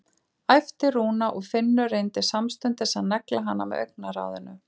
æpti Rúna og Finnur reyndi samstundis að negla hana með augnaráðinu.